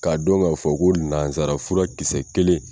K'a dɔn k'a fɔ ko nanzarafura kisɛ kelen.